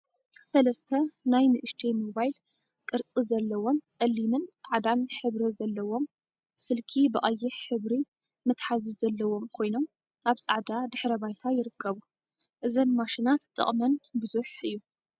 ሰለስተ ናይ ንእሽተይ ሞባይል ቅርፂ ዘለዎን ፀሊምን ፃዕዳን ሕብሪ ዘለዎም ስልኪ ብቀይሕ ሕብሪ መትሓዚ ዘለዎም ኮይኖም አብ ፃዕዳ ድሕረ ባይታ ይርከቡ። እዘን ማሽናት ጥቅመን ብዙሕ እዩ።